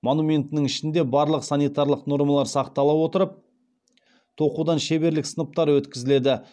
монументінің ішінде барлық санитарлық нормалар сақтала отырып тоқудан шеберлік сыныптары өткізіледі